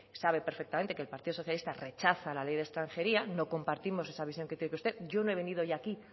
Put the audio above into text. sabe perfectamente que el partido socialista rechaza la ley de extranjería no compartimos esa visión que tiene usted yo no he venido hoy aquí